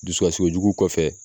Dusukasi kojugu kɔfɛ